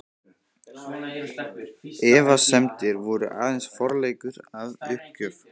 Efasemdir voru aðeins forleikur að uppgjöf.